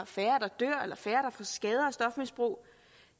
færre der får skader af stofmisbrug